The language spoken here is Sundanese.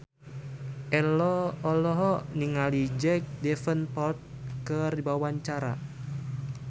Ello olohok ningali Jack Davenport keur diwawancara